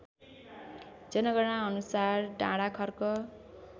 जनगणनाअनुसार Dandakharka